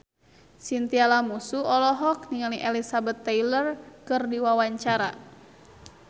Chintya Lamusu olohok ningali Elizabeth Taylor keur diwawancara